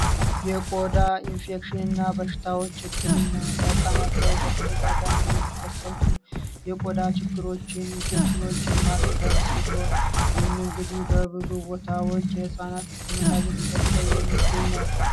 የቆዳ ሽፍታ በሽታዎች በፃናት ላይ በተደጋጋሚ የሚከሰቱ ችግሮችንና ኢንፌክሽኖችን ማከም በብዙ ቦታዎች ህክምና እየተሰጠ የሚገኝ ነው።